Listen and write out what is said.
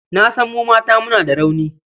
Na san mu mata muna da rauni.